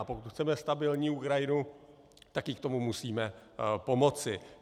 A pokud chceme stabilní Ukrajinu, tak jí k tomu musíme pomoci.